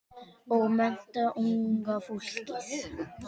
Og mennta unga fólkið.